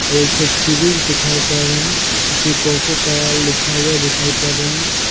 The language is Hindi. एकठो फ्रिज दिखाई पड़ रहें हैं जिसमें कोकोकोला लिखा हुआ दिखाई पड़ रहें हैं।